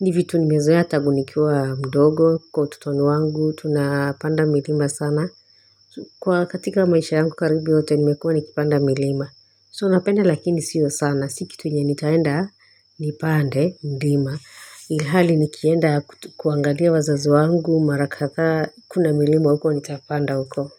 ni vitu nimezoea tangu nikiwa mdogo kwa ututonu wangu tunapanda milima sana Kwa katika maisha yangu karibi yote nimekuwa nikipanda milima so napenda lakini sio sana si kitu yenye nitaenda nipande mlima hali nikienda kuangalia wazazo wangu mara katha kuna milima huko nitapanda huko.